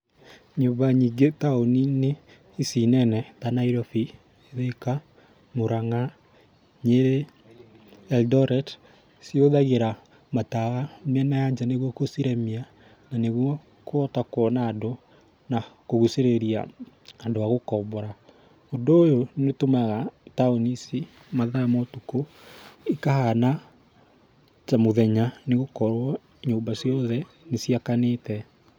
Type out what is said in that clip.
Nyũmba nyingĩ taũni-inĩ, ici nene ta Nairobi, Thĩka, Mũranga, Nyĩrĩ, Eldoret, cihũthagĩra matawa mĩena ya nja nĩguo gũciremia na nĩguo kũhota kuona andũ na kũgucĩrĩria andũ a gũkombora. Ũndũ ũyũ nĩũtũmaga taũni ici mathaa ma ũtukũ, ikahana ta mũthenya nĩgũkorwo nyũmba ciothe nĩciakanĩte.